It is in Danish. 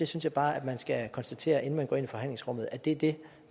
synes bare man skal konstatere inden man går ind i forhandlingsrummet at det er det